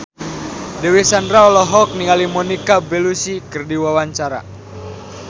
Dewi Sandra olohok ningali Monica Belluci keur diwawancara